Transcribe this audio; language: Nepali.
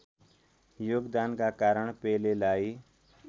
योगदानका कारण पेलेलाई